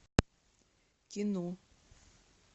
кино